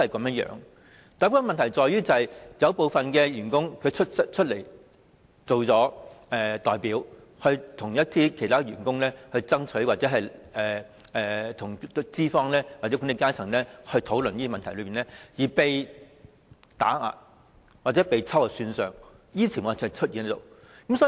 問題是有些員工以代表的身份為其他員工爭取權益，並在與資方或管理階層討論一些問題後被打壓或秋後算帳，這些情況時有出現。